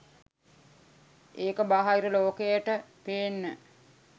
ඒක බාහිර ලෝකයට පේන්න.